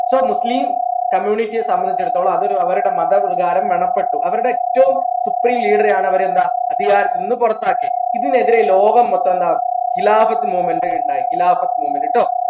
so muslim community യെ സംബന്ധിച്ചെടുത്തോളം അത് ഒരു അവരുടെ മത പ്പെട്ടു അവരുടെ ഏറ്റവും യാണ് അവർ എന്താ അധികാരത്തിൽ നിന്ന് പുറത്താക്കിയത് ഇതിനെതിരെ ലോകം മൊത്തം എന്താ movement ഇണ്ടായി movement ട്ടോ